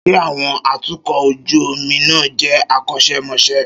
Ṣé àwọn atukọ̀ ojú omi náà jẹ́ akọ́ṣẹ́mọṣẹ́?